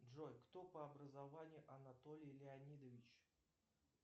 джой кто по образованию анатолий леонидович